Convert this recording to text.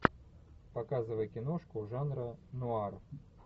показывай киношку жанра нуар